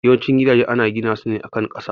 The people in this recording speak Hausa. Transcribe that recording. Yawan cin gidaje ana gina su ne a kan kasa